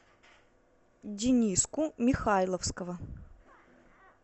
дениску михайловского